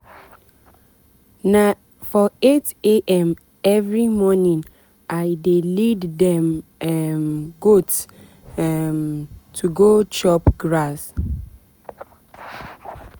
na for 8am every morning i dey lead dem um goat um to go chop grass.